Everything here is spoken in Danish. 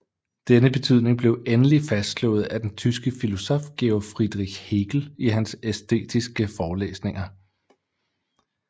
Denne betydning blev endeligt fastslået af den tyske filosof Georg Friedrich Hegel i hans æstetiske forelæsninger